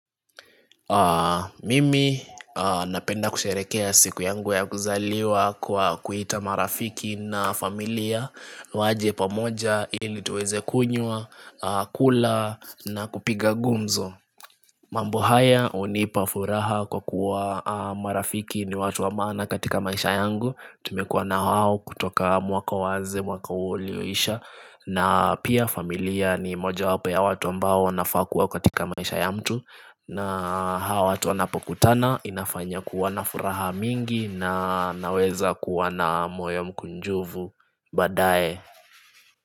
Mimi napenda kusherehekea siku yangu ya kuzaliwa kwa kuita marafiki na familia waje pamoja ili tuweze kunywa, kula na kupiga gumzo mambo haya hunipa furaha kwa kuwa marafiki ni watu wa maana katika maisha yangu. Tumekuwa na hao kutoka mwaka uanze mwaka ulioisha na pia familia ni mojawapo ya watu ambao wanafaa kuwa katika maisha ya mtu na hawa watu wanapokutana inafanya kuwa na furaha mingi na naweza kuwa na moyo mkunjufu badaye.